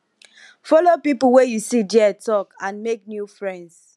follow pipo wey you see there talk and make new friends